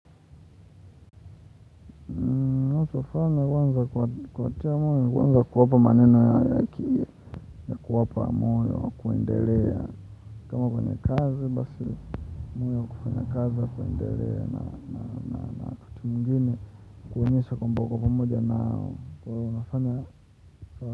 Natuafana kwanza kuwapa maneno ya haki. Kuwapa moyo wa kuendelea. Kama kwenye kazi basi moyo wa kufanya kazi wa kuendelea na wakati mwingine kuonyesha kwamba uko pamoja nao kwa hivyo unafanya.